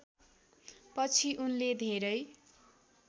पछि उनले धेरै